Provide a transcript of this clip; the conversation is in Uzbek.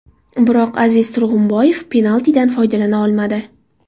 Biroq Aziz Turg‘unboyev penaltidan foydalana olmadi.